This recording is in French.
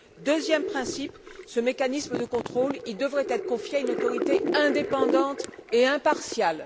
Deuxième principe ce mécanisme de contrôle devrait être confié à une autorité indépendante et impartiale.